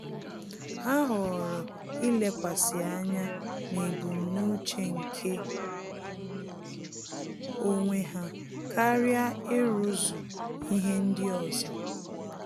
Há họ̀ọ̀rọ̀ ílékwàsí ányá n’ébúmnúché nke onwe ha kàrị́a írúzu ihe ndị ọzọ.